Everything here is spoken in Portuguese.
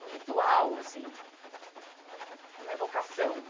um ritual assim, é uma evocação.